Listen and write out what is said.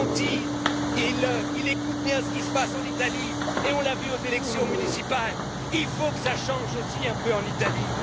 Monti écoute bien ce qui se passe en Italie et on l'a vu aux élections municipales il faut que cela change un peu aussi en Italie.